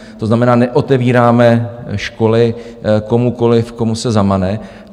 To znamená, neotevíráme školy komukoliv, komu se zamane.